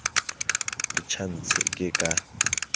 o tjha ntshi ke ka